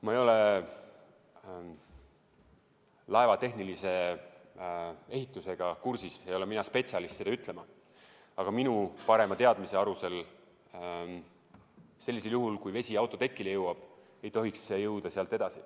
Ma ei ole laeva tehnilise ehitusega kursis, ei ole mina spetsialist seda ütlema, aga minu parima teadmise alusel sellisel juhul, kui vesi autotekile jõuab, ei tohiks see jõuda sealt edasi.